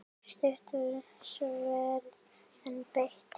Stutt sverð, en beitt.